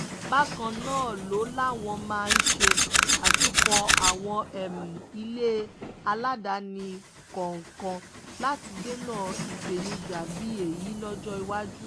bákan náà ló láwọn máa ṣe àtúnkọ́ àwọn ilé aládàáni kọ̀ọ̀kan láti dènà ìpèníjà bíi èyí lọ́jọ́ iwájú